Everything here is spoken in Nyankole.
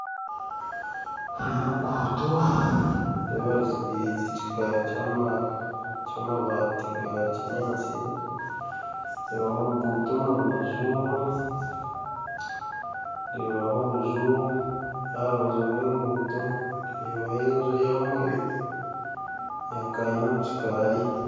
Oruguuto nindeeba ruzitiriize ekikaari kyamabaati gakinyaatsi, nindeeba oruguuto omu rubaju, nindeebaho obuju aha rubaju rw'enguuto ndeebaho enju ya kanyina omukikaari.